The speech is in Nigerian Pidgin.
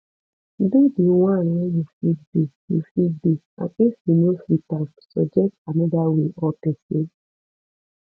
do di one wey you fit do you fit do and if you no fit am suggest another way or persin